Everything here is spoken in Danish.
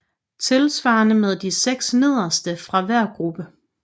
Tilsvarende med de 6 nederste fra hver gruppe